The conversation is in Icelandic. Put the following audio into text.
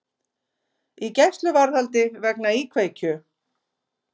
Í gæsluvarðhaldi vegna íkveikju